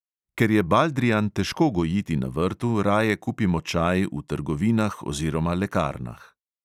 Ker je baldrijan težko gojiti na vrtu, raje kupimo čaj v trgovinah oziroma lekarnah.